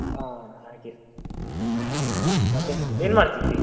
ಹಾ ಹಾಗೆ, ಮತ್ತೆ ಏನ್ ಮಾಡ್ತಾ ಇದ್ದಿ?